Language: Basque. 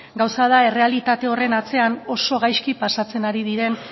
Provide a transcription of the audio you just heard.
gauza da errealitate horren atzean oso gaizki pasatzen ari diren